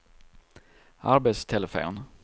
arbetstelefon